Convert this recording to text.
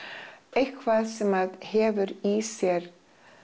eitthvað sem hefur í sér